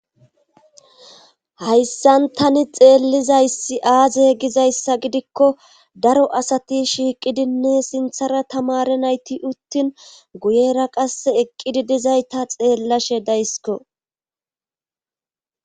hayssan tani xeellizaysi aaze gizayssa gidikko daro asati shiiqidinne sinthara tamare nayti uttin guyera qass eqqidi dizay ta xeellashe daysiko